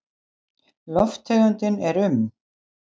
Lofttegundin er um